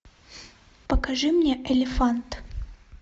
покажи мне элефант